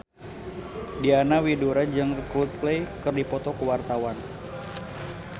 Diana Widoera jeung Coldplay keur dipoto ku wartawan